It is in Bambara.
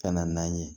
Ka na n'an ye